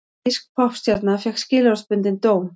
Þýsk poppstjarna fékk skilorðsbundinn dóm